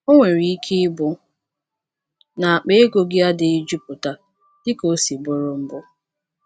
O nwere ike ịbụ na akpa ego gị adịghị jupụta dịka o si bụrụ mbụ.